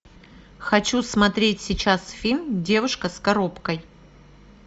хочу смотреть сейчас фильм девушка с коробкой